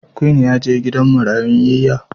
Queen ya je gidan marayun yiya.